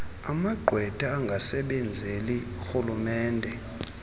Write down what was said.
amagqwetha angasebenzeli rhulumente